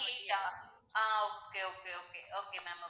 twenty eight டா ah okay okay okay okay ma'am okay